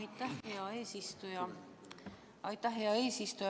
Aitäh, hea eesistuja!